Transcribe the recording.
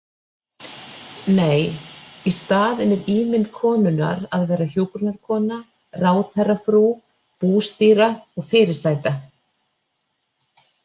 Nei- í staðinn er ímynd konunnar að vera hjúkrunarkona, ráðherrafrú, bústýra og fyrirsæta.